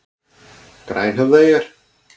Grænhöfðaeyjar